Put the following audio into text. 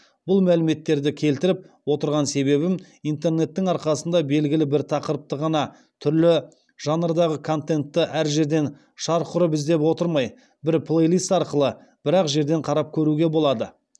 бұл мәліметтерді келтіріп отырған себебім интернеттің арқасында белгілі бір тақырыпты ғана түрлі жанрдағы контентті әр жерден шарқ ұрып іздеп отырмай бір плейлист арқылы бір ақ жерден қарап көруге болады